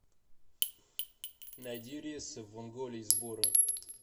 найди рейсы в онголе из бора